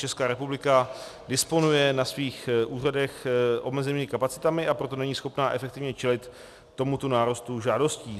Česká republika disponuje na svých úřadech omezenými kapacitami, a proto není schopna efektivně čelit tomuto nárůstu žádostí.